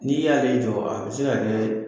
N'i y'a jɔ a bɛ se ka kɛ